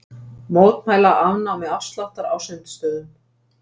Mótmæla afnámi afsláttar á sundstöðum